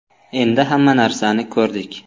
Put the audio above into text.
Endi hamma narsani ko‘rdik.